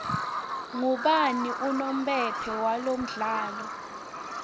ubani unompempe walomdlalo